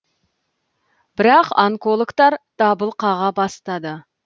бірақ онкологтар дабыл қаға бастады